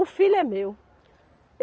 O filho é meu.